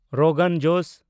ᱨᱳᱜᱟᱱ ᱡᱳᱥ